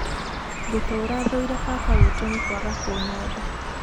ngũtũũra thũire baba witũ nĩ kwaga kũnyenda